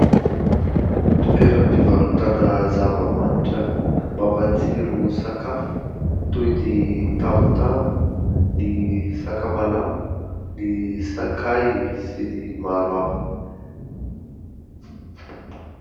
Toeram-pivarotana zava-manitra mampatsiro sakafo, toy ny tamotamo, ny sakamalao, ny sakay sy ny maro hafa.